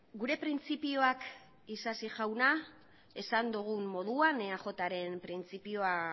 gure printzipioak isasi jauna esan dugun moduan eajren printzipioa